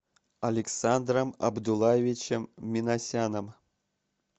александром абдуллаевичем минасяном